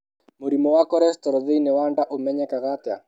Mũrimũ wa cholesterol thĩinĩ wa nda ũmenyekaga atĩa?